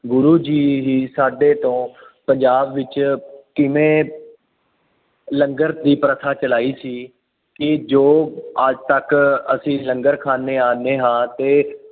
ਗੁਰੂ ਜੀ ਹੀ ਸਾਡੇ ਤੋਂ ਪੰਜਾਬ ਵਿੱਚ ਕਿਵੇਂ ਲੰਗਰ ਦੀ ਪ੍ਰਥਾ ਚਲਾਈ ਸੀ, ਕਿ ਜੋ ਅੱਜ ਤੱਕ ਅਸੀਂ ਲੰਗਰ ਖਾਂਦੇ ਆਂਦੇ ਹਾਂ ਅਤੇ